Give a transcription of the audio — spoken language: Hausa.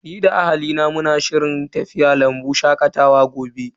Ni da ahalina muna shirin tafiya lambu shakatawa gobe.